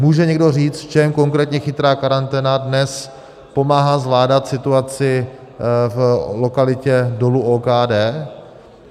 Může někdo říct, v čem konkrétně chytrá karanténa dnes pomáhá zvládat situaci v lokalitě dolu OKD?